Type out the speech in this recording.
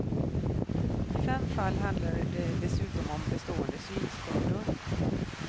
I fem fall handlade det dessutom om bestående synskador.